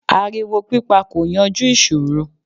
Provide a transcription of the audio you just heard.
Ariwo pípa kò yanjú ìṣòro.